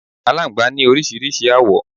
Alángbá ní oríṣiríṣi awo